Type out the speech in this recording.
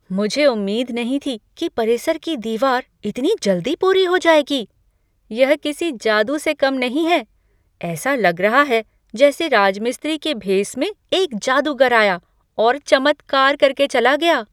मुझे उम्मीद नहीं थी कि परिसर की दीवार इतनी जल्दी पूरी हो जाएगी, यह किसी जादू से कम नहीं है! ऐसा लग रहा है जैसे राजमिस्त्री कि भेस में एक जादूगर आया और चमत्कार करके के चला गया।